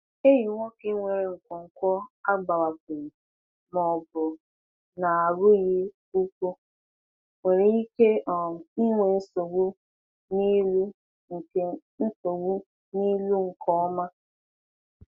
Ehi nwoke nwere nkwonkwo agbawapụghị ma ọ bụ na-arụghị ụkwụ nwere ike um inwe nsogbu n’ịlụ nke nsogbu n’ịlụ nke ọma.